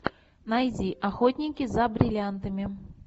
найди охотники за бриллиантами